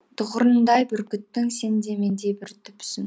тұғырындай бүркіттің сен де мендей бір түпсің